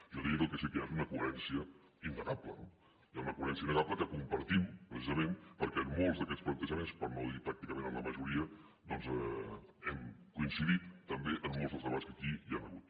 jo diria que el que sí que hi ha és una coherència innegable no hi ha una coherència innegable que compartim precisament perquè en molts d’aquest plantejaments per no dir pràcticament en la majoria doncs hem coincidit també en molts dels debats que aquí hi han hagut